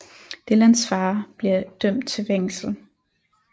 Dylans far bliver dømt til fængsel